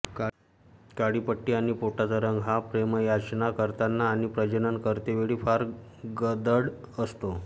काळी पट्टी आणि पोटाचा रंग हा प्रेमयाचना करताना आणि प्रजनन करतेवेळी फार गडद असतो